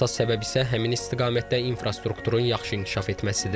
Əsas səbəb isə həmin istiqamətdə infrastrukturun yaxşı inkişaf etməsidir.